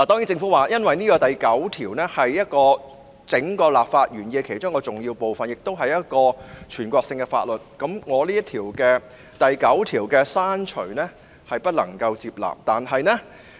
政府表示，第9條是立法原意中一個重要部分，亦屬於全國性法律，故此不能夠接納我刪除第9條的修正案。